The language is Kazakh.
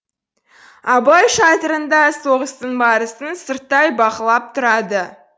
абылай шатырында соғыстың барысын сырттай бақылап тұрады